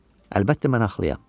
Əlbəttə mən axlıyam.